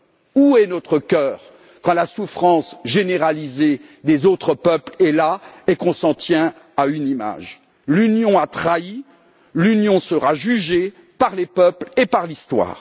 Où est notre cœur quand la souffrance généralisée des autres peuples est là et qu'on s'en tient à une image? L'Union a trahi, l'Union sera jugée par les peuples et par l'histoire.